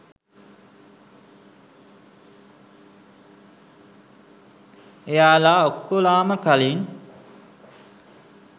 එයාලා ඔක්කොලාම කලින්